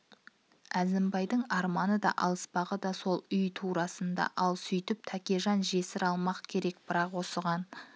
әзімбайдың арманы да алыспағы да сол үй турасында ал сөйтіп тәкежан жесір алмақ керек бірақ осыған